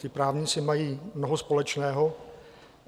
Ti právníci mají mnoho společného.